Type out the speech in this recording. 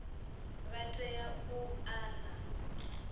vha tea u ḓa na